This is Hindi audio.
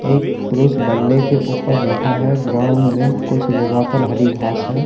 एक पुरुष बल्ले के ऊपर बैठा है ग्राउंड में कुछ जगह पर हरी घास हैं।